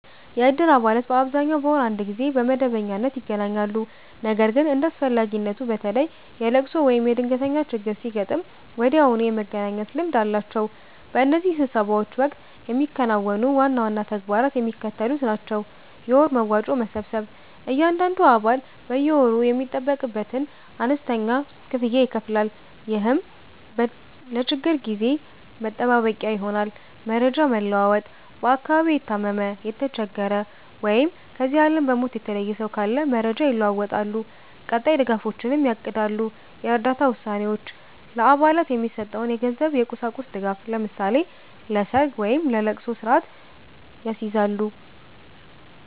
የእድር አባላት በአብዛኛው በወር አንድ ጊዜ በመደበኛነት ይገናኛሉ። ነገር ግን እንደ አስፈላጊነቱ፣ በተለይ የልቅሶ ወይም የድንገተኛ ችግር ሲያጋጥም ወዲያውኑ የመገናኘት ልምድ አላቸው። በእነዚህ ስብሰባዎች ወቅት የሚከናወኑ ዋና ዋና ተግባራት የሚከተሉት ናቸው፦ የወር መዋጮ መሰብሰብ፦ እያንዳንዱ አባል በየወሩ የሚጠበቅበትን አነስተኛ ክፍያ ይከፍላል፤ ይህም ለችግር ጊዜ መጠባበቂያ ይሆናል። መረጃ መለዋወጥ፦ በአካባቢው የታመመ፣ የተቸገረ ወይም ከዚህ ዓለም በሞት የተለየ ሰው ካለ መረጃ ይለዋወጣሉ፤ ቀጣይ ድጋፎችንም ያቅዳሉ። የእርዳታ ውሳኔዎች፦ ለአባላት የሚሰጠውን የገንዘብና የቁሳቁስ ድጋፍ (ለምሳሌ ለሰርግ ወይም ለልቅሶ) ስርአት ያስይዛሉ።